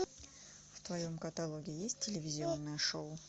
в твоем каталоге есть телевизионное шоу